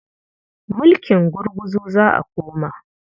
Mulking gurguzu za a koma.